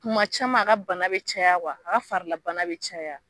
Kuma caman a ka bana bi caya a farila bana be caya